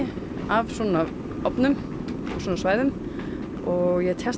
af svona ofnum og svæðum og ég